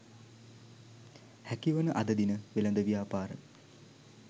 හැකිවන අද දින වෙළෙඳ ව්‍යාපාර